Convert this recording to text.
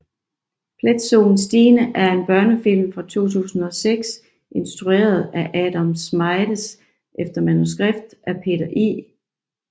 Pletsoen Stine er en børnefilm fra 2006 instrueret af Adam Schmedes efter manuskript af Peter I